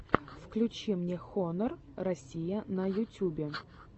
включи мне хонор россия на ютюбе